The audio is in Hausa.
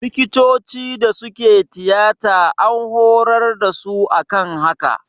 Likitocin da suke tiyata an hurar da su akan haka